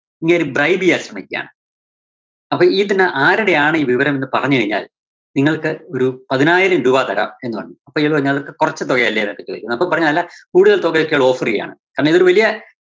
ഇങ്ങേര് bribe ചെയ്യാൻ ശ്രമിക്കുവാണ്. അപ്പോ ഇതില് ആരുടെ ആണ് ഈ വിവരം എന്ന് പറഞ്ഞുകഴിഞ്ഞാൽ നിങ്ങൾക്ക് ഒരു പതിനായിരം രൂപ തരാം എന്നുപറഞ്ഞു. അപ്പോ ഇത് കൊറച്ച് തുകയല്ലേ എന്നൊക്കെ ചോദിക്കുന്നു. അപ്പോൾ പറഞ്ഞു അല്ല കൂടുതല്‍ തുകക്ക് offer ചെയ്യാണ്. കാരണം ഇതൊരു വലിയ